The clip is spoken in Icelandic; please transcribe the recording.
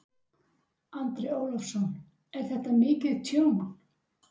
Andri Ólafsson: Er þetta mikið tjón?